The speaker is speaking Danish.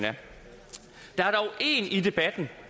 der er dog en i debatten